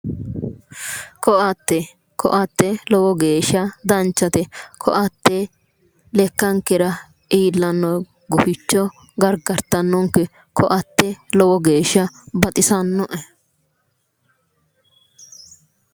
Koatte, koatte lowo geeshsha danchate, koatte lekkankera iillanore guficho gargarittanonke, koatte lowo geeshsha baxisanoe